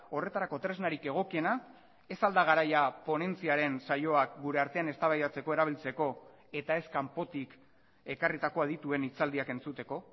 horretarako tresnarik egokiena ez al da garaia ponentziaren saioak gure artean eztabaidatzeko erabiltzeko eta ez kanpotik ekarritako adituen hitzaldiak entzuteko